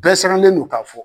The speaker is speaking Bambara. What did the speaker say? Bɛɛ siranlen do k'a fɔ